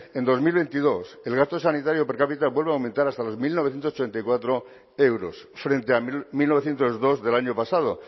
en dos mil veintidós el gasto sanitario per cápita vuelve a aumentar hasta los mil novecientos ochenta y cuatro euros frente a mil novecientos dos del año pasado